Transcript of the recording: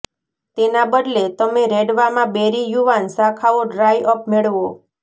તેના બદલે તમે રેડવામાં બેરી યુવાન શાખાઓ ડ્રાય અપ મેળવો